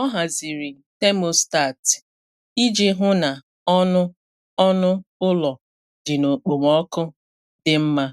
Ọ haziri thermostat iji hụ na ọnụ ọnụ ụlọ dị n’okpomọkụ dị mma